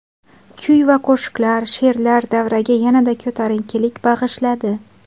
Kuy va qo‘shiqlar, she’rlar davraga yanada ko‘tarinkilik bag‘ishladi.